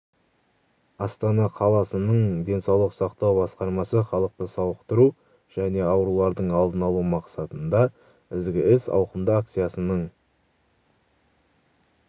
астана қаласының денсаулық сақтау басқармасы халықты сауықтыру және аурулардың алдын алу мақсатында ізгі іс ауқымды акциясының